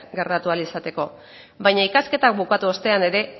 gertatu ahal izateko baina ikasketa bukatu ostean ere